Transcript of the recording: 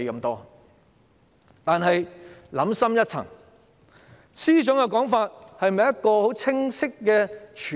但是，想深一層，司長的說法是否清晰和全面？